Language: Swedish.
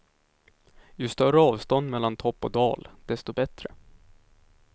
Ju större avstånd mellan topp och dal, desto bättre.